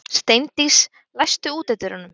Steindís, læstu útidyrunum.